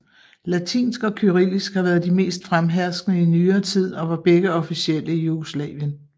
Latinsk og kyrillisk har været de mest fremherskende i nyere tid og var begge officielle i Jugoslavien